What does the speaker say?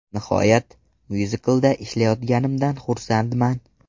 Nihoyat, myuziklda ishlayotganimdan xursandman.